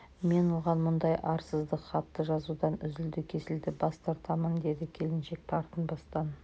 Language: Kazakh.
мен оған мұндай арсыздық хатты жазудан үзілді-кесілді бас тартамын деді келіншек тартынбастан